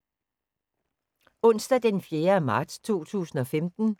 Onsdag d. 4. marts 2015